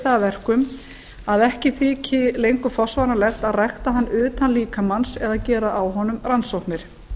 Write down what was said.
það að verkum að ekki þyki lengur forsvaranlegt að rækta hann utan líkamans eða gera á honum rannsóknir